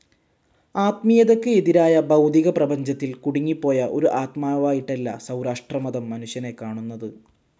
ആത്മീയതയ്ക്ക് എതിരായ ഭൗതിക പ്രപഞ്ചത്തിൽ കുടുങ്ങിപ്പോയ ഒരു ആത്മാവായിട്ടല്ല സൗരാഷ്ട്രമതം മനുഷ്യനെ കാണുന്നത്.